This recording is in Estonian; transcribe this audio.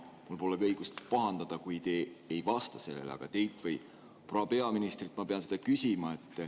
Mul pole õigust pahandada, kui te ei vasta sellele, aga teilt või proua peaministrilt ma pean seda küsima.